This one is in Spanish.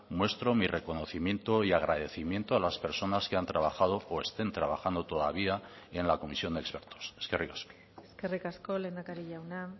nuestro mi reconocimiento y agradecimiento a las personas que han trabajado o estén trabajando todavía en la comisión de expertos eskerrik asko eskerrik asko lehendakari jauna